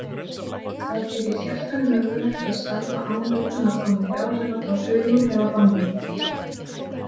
Það gerir hjartanu mögulegt að starfa án utanaðkomandi áhrifa frá taugum eða hormónum.